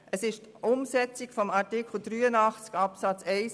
Es handelt sich um die Umsetzung von Artikel 83 Absatz 1